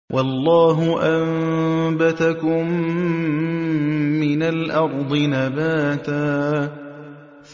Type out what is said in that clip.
وَاللَّهُ أَنبَتَكُم مِّنَ الْأَرْضِ نَبَاتًا